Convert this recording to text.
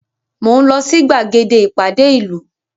Mo ń lọ sí gbàgede ìpàdé ìlú